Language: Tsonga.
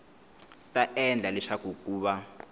ta endla leswaku ku va